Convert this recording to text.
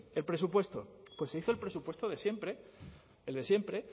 el presupuesto pues se hizo el presupuesto de siempre el de siempre